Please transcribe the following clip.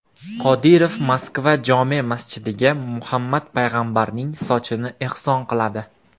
Qodirov Moskva jome’ masjidiga Muhammad payg‘ambarning sochini ehson qiladi.